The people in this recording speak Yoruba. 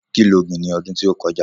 Kí lo gbìn ní ọdún tí ó kọjá?